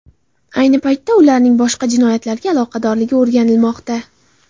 Ayni paytda ularning boshqa jinoyatlarga aloqadorligi o‘rganilmoqda.